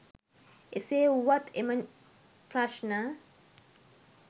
එසේ වුවත් එම ප්‍රශ්න